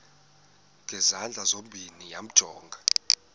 ngezandla zozibini yamjonga